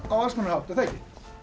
á alls konar hátt er það ekki